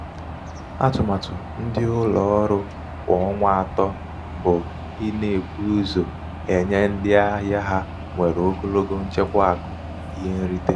atụmatụ um ndị um ụlọ ọrụ kwa ọnwa atọ bụ um ịna-ebu ụzọ nye ndị ahịa ha nwere ogologo nchekwa akụ ihe nrite.